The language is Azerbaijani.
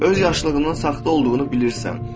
Öz yaxşılığının saxta olduğunu bilirsən.